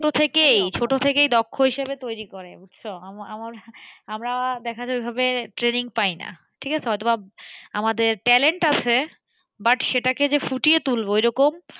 ছোট থেকেই ছোট থেকেই দক্ষ হিসাবে তৈরি করে বুঝছো, আমার আমার আমরা দেখা যায় ওই ভাবে training পাইনা ঠিক আছে, হয়তো বা আমাদের talent আছে but সেটাকে যে ফুটিয়ে তুলব ওই রকম,